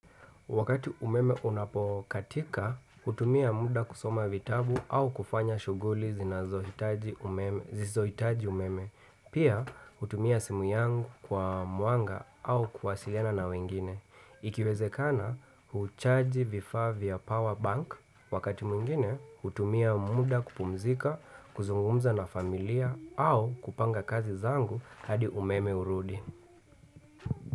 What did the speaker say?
Wakati umeme unapokatika, hutumia muda kusoma vitabu au kufanya shughuli zinazohitaji, zisizohitaji umeme. Pia, hutumia simu yangu kwa mwanga au kuwasiliana na wengine. Ikiwezekana, huchaji vifaa vya power bank. Wakati mwingine, hutumia muda kupumzika, kuzungumza na familia au kupanga kazi zangu hadi umeme urudi.